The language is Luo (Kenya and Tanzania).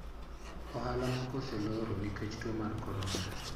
Ohala moko oseloro nikech tuo mar korona.